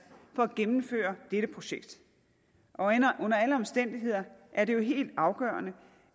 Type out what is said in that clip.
for at gennemføre dette projekt under alle omstændigheder er det jo helt afgørende